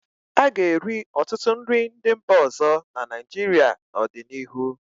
A ga-eri ọtụtụ nri ndị mba ọzọ na Naịjirịa n'ọdịnihu.